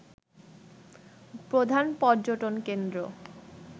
প্রধান পর্যটনকেন্দ্র